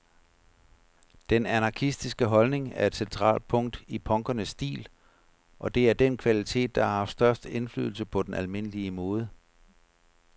Den anarkistiske holdning er et centralt punkt i punkernes stil, og det er den kvalitet, der har haft størst indflydelse på den almindelige mode.